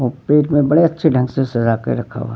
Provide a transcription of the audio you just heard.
हुँ पेट में बड़े अच्छे ढंग से सजाके रक्खा हुआ।